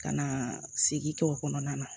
Ka na sigi to kɔnɔna na